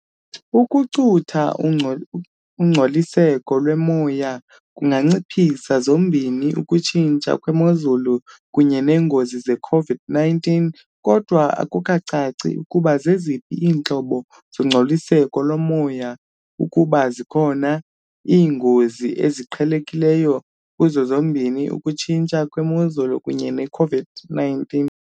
Ukucutha ungco ungcoliseko lomoya kunganciphisa zombini ukutshintsha kwemozulu kunye neengozi ze-COVID-19 kodwa akukacaci ukuba zeziphi iintlobo zongcoliseko lomoya ukuba zikhona iingozi eziqhelekileyo kuzo zombini ukutshintsha kwemozulu kunye ne-COVID-19.